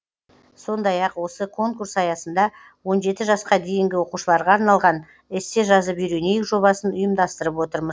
сондай ақ осы конкурс аясында он жеті жасқа дейінгі оқушыларға арналған эссе жазып үйренейік жобасын ұйымдастырып отырмыз